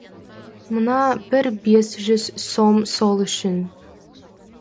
мына бір бес жүз сом сол үшін